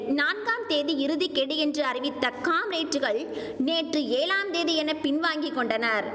நான்காம் தேதி இறுதி கெடு என்று அறிவித்த காம்ரேட்டுகள் நேற்று ஏழாம் தேதி என பின்வாங்கி கொண்டனர்